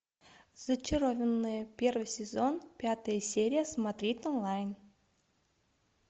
зачарованные первый сезон пятая серия смотреть онлайн